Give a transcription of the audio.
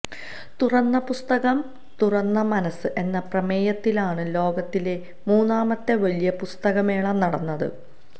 തുറന്ന പുസ്തകം തുറന്ന മനസ്സ് എന്ന പ്രമേയത്തിലാണ് ലോകത്തിലെ മൂന്നാമത്തെ വലിയ പുസ്തകമേള നടന്നത്